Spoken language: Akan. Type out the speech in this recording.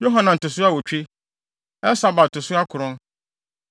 Yohanan to so awotwe, Elsabad to so akron.